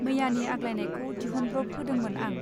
मैयानि आग्लायनायखौ दिहुनब्रब होदोंमोन आं.